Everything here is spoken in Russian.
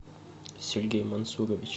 сергей мансурович